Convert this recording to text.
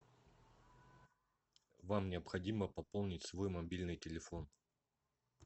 вам необходимо пополнить свой мобильный телефон